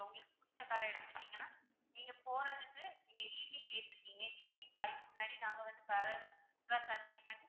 உங்களுக்கு புடிச்ச car அ எடுத்துட்டிங்கனா, நீங்க போறதுக்கு நீங்க evening கேட்டுருக்கீங்க evening five க்கு முன்னாடி நாங்க வந்து car அ full லா service பண்ணி,